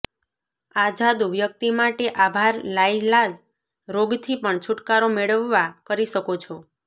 આ જાદુ વ્યક્તિ માટે આભાર લાઇલાજ રોગ થી પણ છૂટકારો મેળવવા કરી શકો છો